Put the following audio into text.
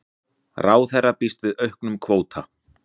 Ráðherra býst við auknum kvóta